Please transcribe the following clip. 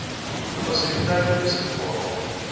fasiliteite beskikbaar maak